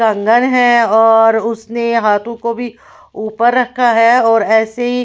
कंगन है और उसने हाथों को भी ऊपर रखा है और ऐसे ही--